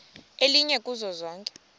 elinye kuzo zonke